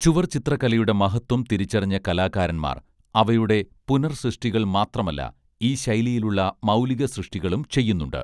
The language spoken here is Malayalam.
ചുവർച്ചിത്രകലയുടെ മഹത്ത്വം തിരിച്ചറിഞ്ഞ കലാകാരന്മാർ അവയുടെ പുനർസൃഷ്ടികൾ മാത്രമല്ല ഈ ശൈലിയിലുള്ള മൗലിക സൃഷ്ടികളും ചെയ്യുന്നുണ്ട്